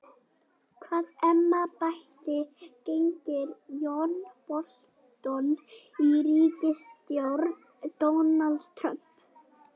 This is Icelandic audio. Hvaða embætti gegnir John Bolton í ríkisstjórn Donalds Trump?